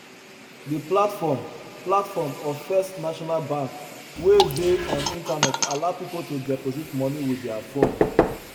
the platform platform of first national bank wey dey on internet allow people to deposit money with their phone